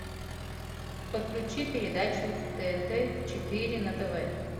подключи передачу тнт четыре на тв